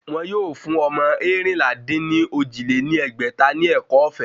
Wọ́n yóò fún ọmọ eérinlá-dín-ní-ojì lé ní ẹgbẹ́ta ní ẹ̀kọ́ ọ̀fẹ́